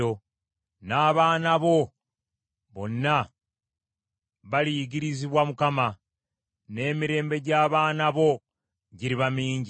N’abaana bo bonna baliyigirizibwa Mukama ; n’emirembe gy’abaana bo giriba mingi.